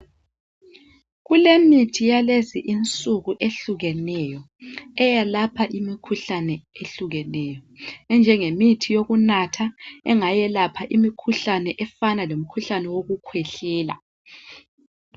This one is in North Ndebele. kulemithi yakulezi insuku ehlukeneyo eyelapha imikhuhlane eyehlukeneyo enjengemithi yokunatha engayelapha imikhuhlane enjengo yokukhwehlela